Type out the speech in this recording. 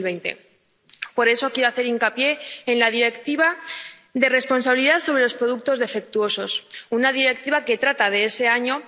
2020. Por eso quiero hacer hincapié en la Directiva de responsabilidad por productos defectuosos, que trata de ese año.